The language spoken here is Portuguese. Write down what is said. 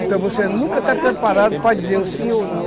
Então você nunca está preparado para dizer o sim ou não.